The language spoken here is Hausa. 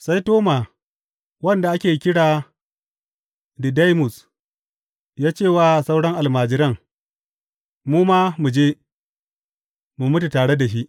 Sai Toma wanda ake kira Didaimus ya ce wa sauran almajiran, Mu ma mu je, mu mutu tare da shi.